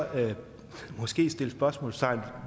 måske sætte spørgsmålstegn